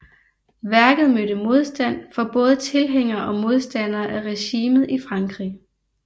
Værket mødte modstand fra både tilhængere og modstandere af regimet i Frankrig